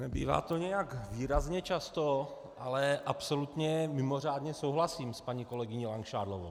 Nebývá to nějak výrazně často, ale absolutně mimořádně souhlasím s paní kolegyní Langšádlovou.